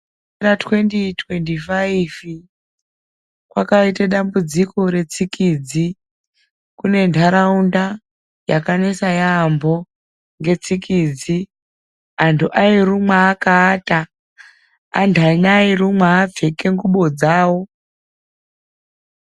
Gore ra2025 kwakaite dambudziko retsikdzi kunentaraunda yakanetsa yaamho ngetsikidzi. Anhu airumwa akaata, anthani airumwa akapfeke ngubo dzawo.